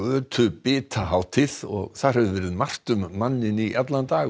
götubitahátíð og þar hefur verið margt um manninn í allan dag